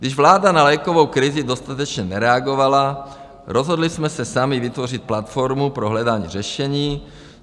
Když vláda na lékovou krizi dostatečně nereagovala, rozhodli jsme se sami vytvořit platformu pro hledání řešení.